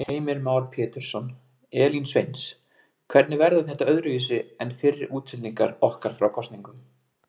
Heimir Már Pétursson: Elín Sveins, hvernig verður þetta öðruvísi en fyrri útsendingar okkar frá kosningum?